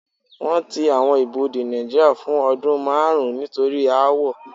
Wọ́n ti àwọn ibodè Nàìjíría fún ọdún márùn-ún nítorí aáwọ̀.